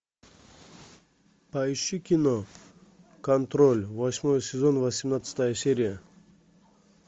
поищи кино контроль восьмой сезон восемнадцатая серия